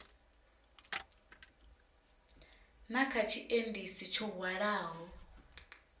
na kha tshiendisi tsho hwalaho